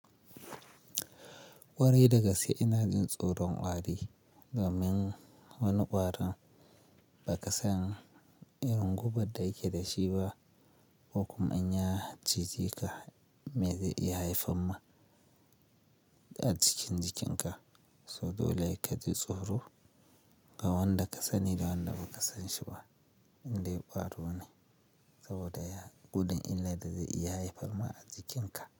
Ƙwarai da gaske ina jin tsoron ƙwari, domin wani ƙwaron ba ka san irin gubar da yake dashi ba, ko kuma in ya cijeka me zai iya haifar ma, a cikin jikin ka. So dole ka ji tsoro, ga wanda ka sani da wanda ba ka san shi ba, indai ƙwaro ne, saboda ya, gudun illar da zai iya haifar ma a jikin ka.